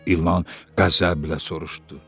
İlan qəzəblə soruşdu.